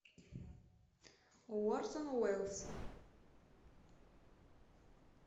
орсон уэллс